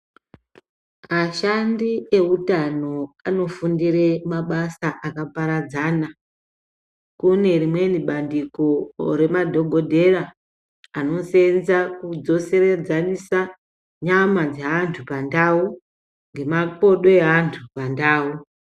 Ashandi eutano anofundire mabasa akaparadzana. Kune rimweni bandiko remadhogodhera rinosenza kudzoredzanisa nyama dzeantu pandau ngemakodo eantu pandau.